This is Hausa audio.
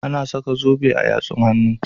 Ana saka zobe a yatsun hannu.